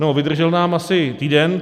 No vydržel nám asi týden.